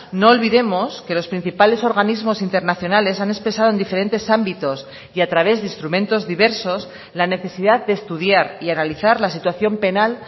no olvidemos que los principales organismos internacionales han expresado en diferentes ámbitos y a través de instrumentos diversos la necesidad de estudiar y analizar la situación penal